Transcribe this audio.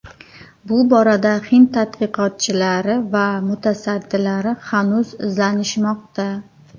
Bu borada hind tadqiqotchilari va mutasaddilari hanuz izlanishmoqda.